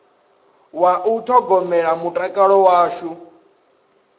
wa u ṱhogomela mutakalo washu